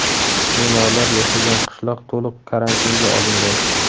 Bemorlar yashagan qishloq to‘liq karantinga olingan.